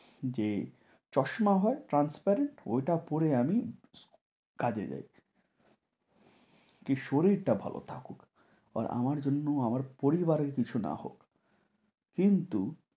যে চশমা হয় transparent ওইটা পরে আমি কাজে যাই। কী শরীরটা ভালো থাকুক আর আমার জন্য আমার পরিবারের কিছু না হোক। কিন্তু,